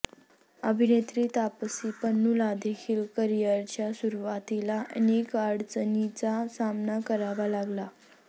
अभिनेत्री तापसी पन्नूलादेखील करिअरच्या सुरुवातीला अनेक अडचणींचा सामना करावा लागला